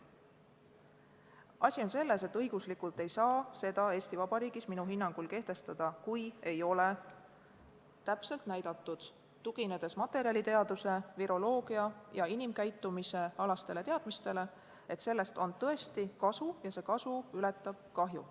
Asi on selles, et õiguslikult ei saa seda Eesti Vabariigis minu hinnangul kehtestada, kui ei ole täpselt näidatud, tuginedes materjaliteaduse, viroloogia ja inimkäitumise alastele teadmistele, et sellest on tõesti kasu ja see kasu ületab kahju.